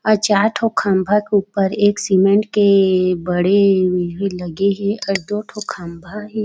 अउ चार ठो खम्भा के ऊपर एक सीमेंट के बड़े ऐहे लगे हे अउ दो ठो खम्भा हे।